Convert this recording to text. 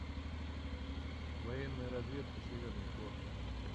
военная разведка северный флот